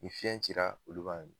Nin fiɲɛ cira olu b'a mi